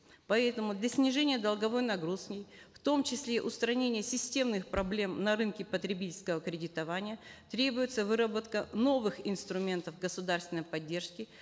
поэтому для снижения долговой нагрузки в том числе устранения системных проблем на рынке потребительского кредитования требуется выработка новых инструментов государственной поддержки